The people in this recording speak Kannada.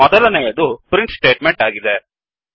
ಮೊದಲನೆಯದು ಪ್ರಿಂಟ್ ಸ್ಟೇಟ್ ಮೆಂಟ್ ಆಗಿದೆ